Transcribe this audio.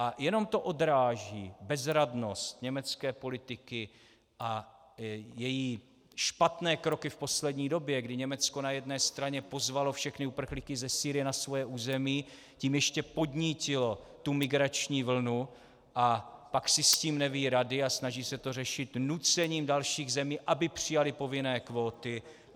A jenom to odráží bezradnost německé politiky a její špatné kroky v poslední době, kdy Německo na jedné straně pozvalo všechny uprchlíky ze Sýrie na svoje území, tím ještě podnítilo tu migrační vlnu, a pak si s tím neví rady a snaží se to řešit nucením dalších zemí, aby přijaly povinné kvóty.